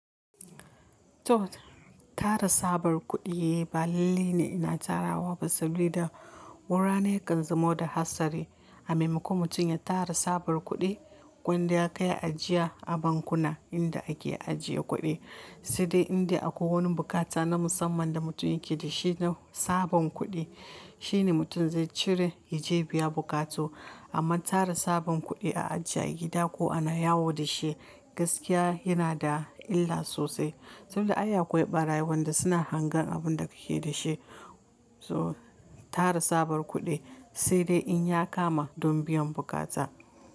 To tara sabar kuɗi balali ne ina tara wa sabida wurare kan zamo da hatsari. A maimako mutum ya tara sabar kuɗi wanda ya kai ajiya a bankuna inda ake ajiye kuɗi, sai dai inda akwai wani bukata na musamman da mutum yake da shi na sabon kuɗi shine mutum zai cire ya je biya bukata. Amma tara sabon kuɗi a ajiye gida ko a na yawo da shi gaskiya yana da illa sosai saboda aya kuwa yi ɓara wanda suna hangen abun da kake da shi. So tara sabar kuɗi sai dai in ya kama don biyan bukata.